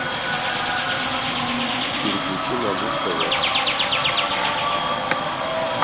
переключи на муз тв